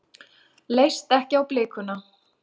Leist ekki á blikuna.